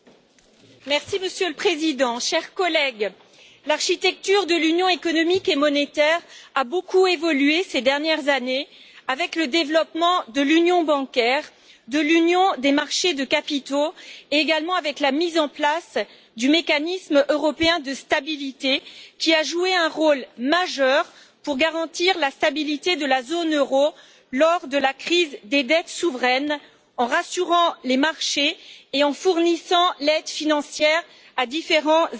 Monsieur le Président, chers collègues, l'architecture de l'Union économique et monétaire a beaucoup évolué ces dernières années avec le développement de l'union bancaire et de l'union des marchés des capitaux, ainsi qu'avec la mise en place du Mécanisme européen de stabilité, qui a joué un rôle majeur pour garantir la stabilité de la zone euro lors de la crise des dettes souveraines en rassurant les marchés et en fournissant une aide financière à différents États membres.